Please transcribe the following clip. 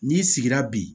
N'i sigira bi